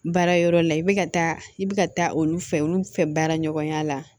Baara yɔrɔ la i bɛ ka taa i bɛ ka taa olu fɛ olu fɛ baara ɲɔgɔnya la